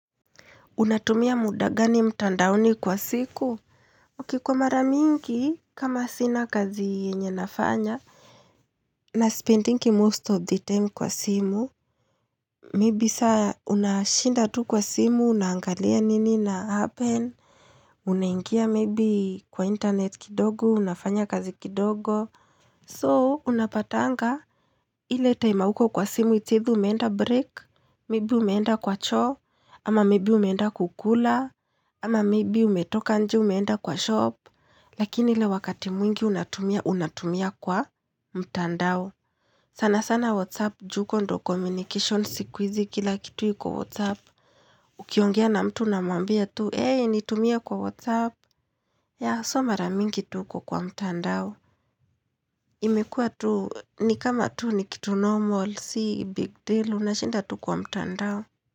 Unatumia muda gani mtandaoni kwa siku? Ok kwa mara mingi, kama sina kazi yenye nafanya. Na spendingi most of the time kwa simu. Maybe saa unashinda tu kwa simu, unangalia nini ina happen. Unaingia maybe kwa internet kidogo, unafanya kazi kidogo. So, unapatanga, ile time hauko kwa simu its either, umeenda break. Maybe umeenda kwa choo, ama maybe umeenda kukula. Ama maybei umetoka nje umeenda kwa shop Lakini le wakati mwingi unatumia, unatumia kwa mtandao sana sana Whatsapp ju huko ndo communication sikuizi kila kitu yuko Whatsapp Ukiongea na mtu una mwambia tu Hey nitumie kwa Whatsapp ya so maramingi tu uko kwa mtandao imekua tu ni kama tu ni kitu normal. Si big deal unashinda tu kwa mtandao.